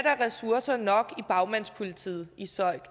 ressourcer nok i bagmandspolitiet i søik